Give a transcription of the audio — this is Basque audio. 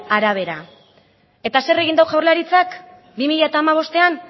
arabera eta zer egin du jaurlaritzak bi mila hamabostean